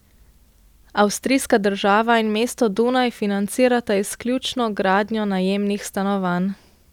Avstrijska država in mesto Dunaj financirata izključno gradnjo najemnih stanovanj.